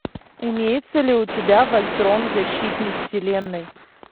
имеется ли у тебя вольтрон защитник вселенной